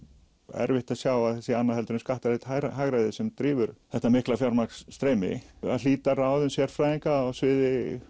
erfitt að sjá að það sé annað heldur en skattalegt hagræði sem drífur þetta mikla að hlíta ráðum sérfræðinga á sviði